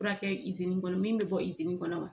Fura kɛ kɔnɔ min bɛ bɔ kɔnɔ?